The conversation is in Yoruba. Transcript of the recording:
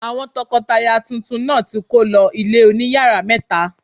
Àwọn tọkọtaya tuntun náà ti kó lọ ilé oní yàrá mẹ́ta.